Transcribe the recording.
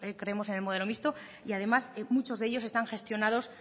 creemos en el modelo mixto y además muchos de ellos están gestionados